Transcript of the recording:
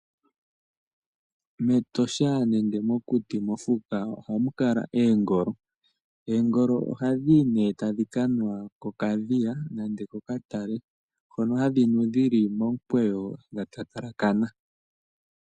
Metosha nenge mokuti ohamu kala oongolo. Oongolo ohadhi yi nee tadhi kanwa kokadhiya nenge kokatale hono hadhi nu dhili momukweyo nenge dha halakana.